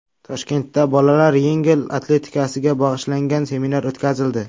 Toshkentda bolalar yengil atletikasiga bag‘ishlangan seminar o‘tkazildi.